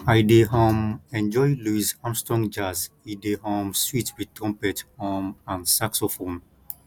i dey um enjoy louis armstrong jazz e dey um sweet wit trumpet um and saxophone